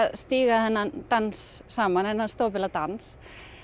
stíga þennan dans saman þennan stopula dans